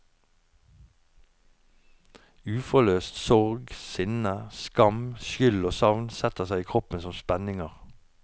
Uforløst sorg, sinne, skam, skyld og savn setter seg i kroppen som spenninger.